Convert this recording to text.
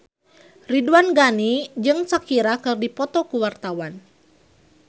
Ridwan Ghani jeung Shakira keur dipoto ku wartawan